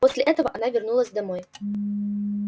после этого она вернулась домой